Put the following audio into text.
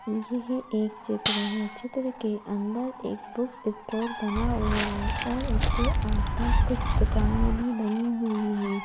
यहएक चित्र है चित्र के अंदर एक बुक स्टोर बना हुआ है और उसके आसपास कुछ दुकानें भी बनी हुई हैं।